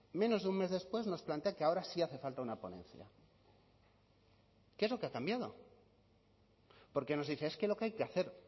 menos de un mes después nos plantea que ahora sí hace falta una ponencia qué es lo que ha cambiado porque nos dice es que lo que hay que hacer